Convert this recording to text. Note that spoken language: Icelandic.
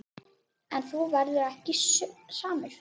En þú verður ekki samur.